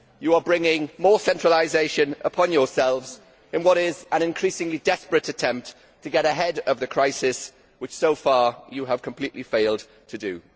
It is bringing more centralisation upon itself in what is an increasingly desperate attempt to get ahead of the crisis, which so far it has completely failed to do.